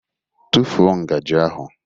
Tụfuo ngaji ahụ!